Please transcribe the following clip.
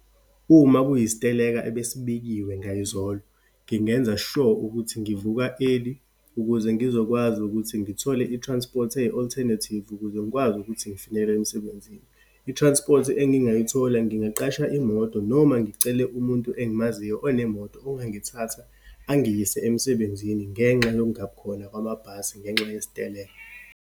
Uma kuyisiteleka ebesibekiwe ngayizolo, ngingenza sure ukuthi ngivuka early ukuze ngizokwazi ukuthi ngithole i-transport eyi-alternative ukuze ngikwazi ukuthi ngifinyelele emsebenzini. I-transport engingayithola, ngingaqasha imoto noma ngicele umuntu engimaziyo, onemoto, ongithatha angiyise emsebenzini, ngenxa yokungabikhona kwamabhasi, ngenxa yesiteleka.